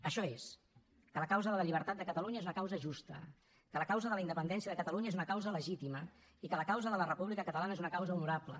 això és que la causa de la llibertat de catalunya és una causa justa que la causa de la independència de catalunya és una causa legítima i que la causa de la república catalana és una causa honorable